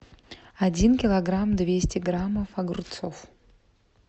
один килограмм двести граммов огурцов